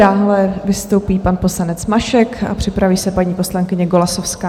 Dále vystoupí pan poslanec Mašek a připraví se paní poslankyně Golasowská.